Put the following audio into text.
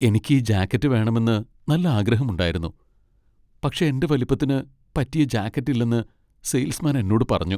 എനിക്ക് ഈ ജാക്കറ്റ് വേണമെന്ന് നല്ല ആഗ്രഹമുണ്ടായിരുന്നു പക്ഷേ എന്റെ വലിപ്പത്തിന് പറ്റിയ ജാക്കറ്റ് ഇല്ലെന്ന് സെയിൽസ് മാൻ എന്നോട് പറഞ്ഞു.